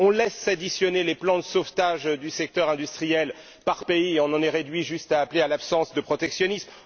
on laisse s'additionner les plans de sauvetage du secteur industriel par pays et on en est réduit juste à appeler à l'absence de protectionnisme.